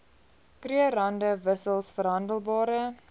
krugerrande wissels verhandelbare